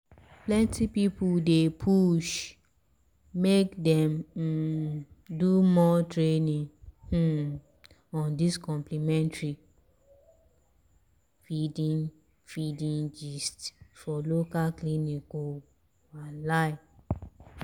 um plenty people dey push make dem um do more training um on dis complementary feeding feeding gist for local clinics o walahi.